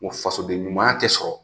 fasoden ɲumanya tɛ sɔrɔ